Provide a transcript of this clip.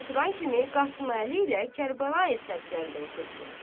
Bu oturan kimi Qasıməli ilə Kərbəlayı Səbzəli də oturdular.